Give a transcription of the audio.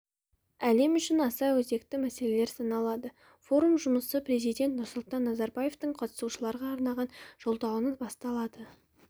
әлем үшін аса өзекті мәселелер саналады форум жұмысы президент нұрсұлтан назарбаевтың қатысушыларға арнаған жолдауынан басталды